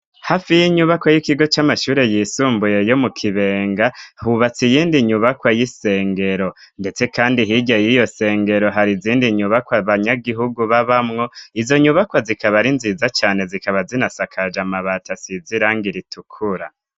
Hafi y'inyubako y'ikigo c'amashuri yisumbuye yo mu kibenga hubatse iyindi nyubakwa y'isengero ndetse kandi hige yiyo sengero hari izindi nyubakwa banyagihugu b'abamwo izo nyubakwa zikaba ari nziza cyane zikaba zinasakaja mabata sizirang iritukura.